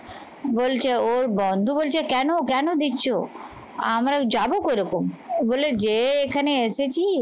বলছে ওর বন্ধু বলছে কেন কেন দিচ্ছ? আমরা যাবো কেরকম? বলে যে এখানে এসেছিস